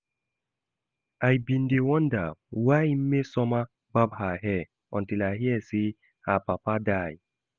I bin dey wonder why Mmesoma barb her hair until I hear say her papa die